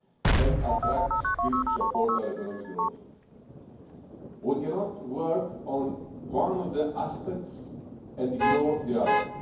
and attract skills to support our economic growth. We cannot work on one of the aspects and ignore the others.